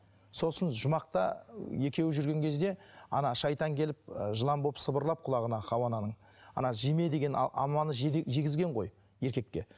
сосын жұмақта екеуі жүрген кезде шайтан келіп ы жылан болып сыбырлап құлағына хауа ананың жеме деген алманы жегізген ғой еркекке